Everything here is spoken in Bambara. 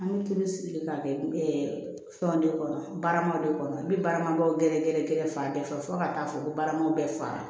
An bɛ tulu sigilen k'a kɛ fɛnw de kɔnɔ baarama de kɔnɔ n bɛ baara ɲumanw gɛrɛ gɛrɛ gɛrɛ fan bɛɛ fɛ fo ka taa fɔ ko baaramaw bɛɛ fa